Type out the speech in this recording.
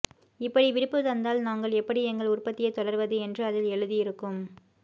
இப்படி விடுப்பு தந்தால் நாங்கள் எப்படி எங்கள் உற்பத்தியை தொடர்வது என்று அதில் எழுதியிருக்கும